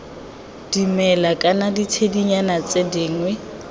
dimela kana ditshedinyana tse dingwe